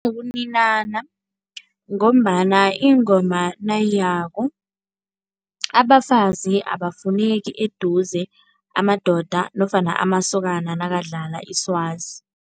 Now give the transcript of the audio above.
Ngombana ingoma nayiyako abafazi abafuneki eduze, amadoda nofana amasokana nakadlala iswazi.